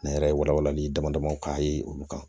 Ne yɛrɛ ye walawalali dama damaw k'a ye olu kan